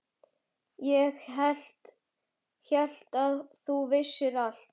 Ég hélt að þú vissir allt.